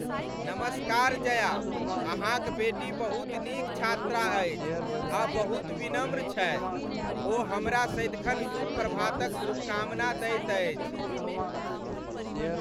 नमस्कार जया, अहाँक बेटी बहुत नीक छात्रा अछि आ बहुत विनम्र छथि। ओ हमरा सदिखन शुभ प्रभातक शुभकामना दैत अछि ।